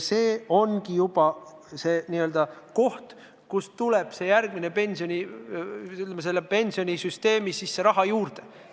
See ongi koht, kust tuleb pensionisüsteemi raha juurde.